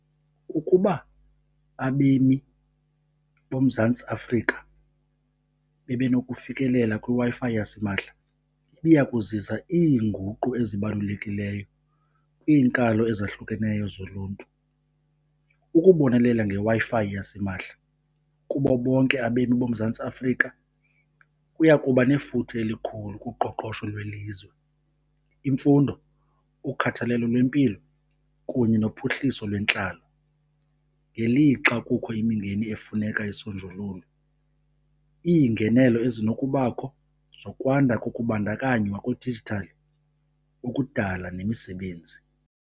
Ukuba abemi boMzantsi Afrika bebenokufikelela kwiWi-Fi yasimahla, ibiya kuzisa iinguqu ezibalulekileyo kwiinkalo ezahlukeneyo zoluntu. Ukubonelela ngeWi-Fi yasimahla kubo bonke abemi boMzantsi Afrika kuya kuba nefuthe elikhulu kuqoqosho lwelizwe, imfundo, ukhathalelo lwempilo kunye nophuhliso lwentlalo. Ngelixa kukho imingeni efuneka isonjululwe, iingenelo ezinokubakho zokwanda kokubandakanywa kwedijithali ukudala nemisebenzi.